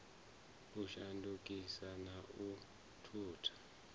u shandukisa na u thutha